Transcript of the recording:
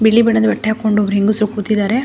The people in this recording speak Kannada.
ಬಿಳಿ ಬಣ್ಣದ ಬಟ್ಟೆ ಹಾಕೊಂಡು ಹೆಂಗಸರು ಕೂತಿದ್ದಾರೆ.